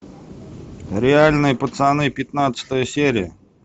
реальные пацаны пятнадцатая серия